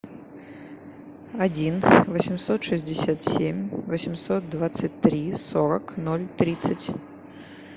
один восемьсот шестьдесят семь восемьсот двадцать три сорок ноль тридцать